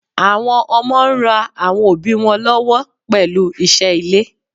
Àwọn ọmọ ń ra àwọn òbí wọn lọ́wọ́ pẹ̀lú iṣẹ́ ilé.